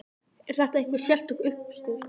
Er þetta einhver sérstök uppskrift?